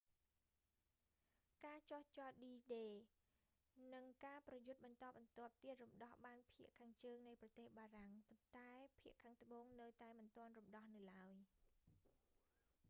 ការចុះចតឌីដេ d-day និងការប្រយុទ្ធបន្តបន្ទាប់ទៀតរំដោះបានភាគខាងជើងនៃប្រទេសបារាំង ប៉ុន្តែភាគខាងត្បូងនៅតែមិនទាន់រំដោះនៅឡើយ